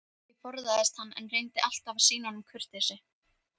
Ég forðaðist hann, en reyndi alltaf að sýna honum kurteisi.